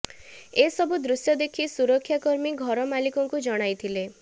ଏ ସବୁ ଦୃଶ୍ୟ ଦେଖି ସୁରକ୍ଷା କର୍ମୀ ଘର ମାଲିକଙ୍କୁ ଜଣାଇଥିଲେ